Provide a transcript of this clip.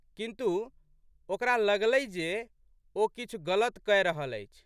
किन्तु, ओकरा लगलै जे ओ किछु गलत कए रहल अछि।